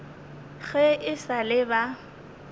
ge e sa le ba